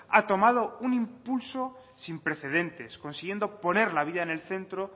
ha tomado un impulso sin precedentes consiguiendo poner la vida en el centro